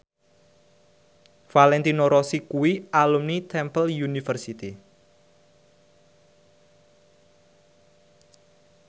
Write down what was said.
Valentino Rossi kuwi alumni Temple University